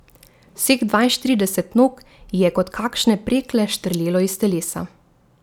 Vseh dvainštirideset nog ji je kot kakšne prekle štrlelo iz telesa.